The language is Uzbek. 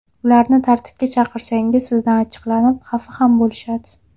Ularni tartibga chaqirsangiz sizdan achchiqlanib, xafa ham bo‘lishadi.